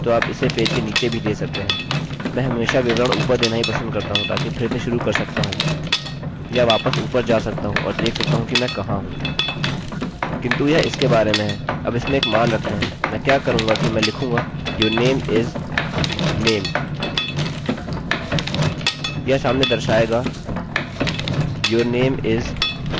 किन्तु यह इसके बारे में हैअब इसमें एक मान रखते हैंमैं क्या करूँगा कि मैं लिखूँगा your name is name यह सामने दर्शाएगा your name is और फिर वेरिएबल name मैं फंक्शनfuction का नाम yourname दूँगा